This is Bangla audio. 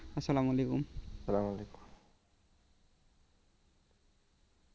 আসসালাম আলাইকুম .